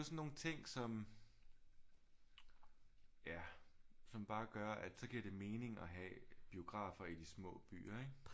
Sådan nogle ting som ja som bare gør at så giver det mening at have biografer i de små byer ikke